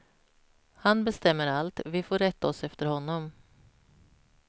Han bestämmer allt, vi får rätta oss efter honom.